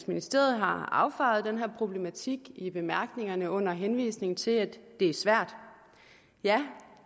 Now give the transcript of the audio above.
ministeriet har affejet den her problematik i bemærkningerne under henvisning til at det er svært ja